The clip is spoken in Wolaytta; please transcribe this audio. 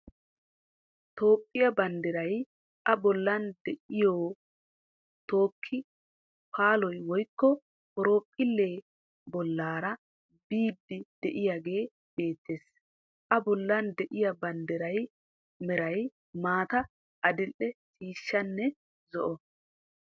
Toophphiya banddiray a bollan de'iyo tokki paallay woykko horoophphilee bollaara biidi de'iyagee beettees. A bollan de'iya banddiraa meray maata, adil"e ciishshaanne zo"o.